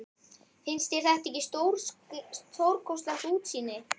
Finnst þér þetta ekki stórkostlegt útsýni?